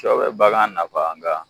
Sɔ be bagan nafa nga